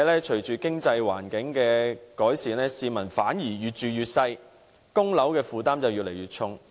隨着經濟環境改善，市民的居住面積反而越來越細，供樓負擔卻越來越重。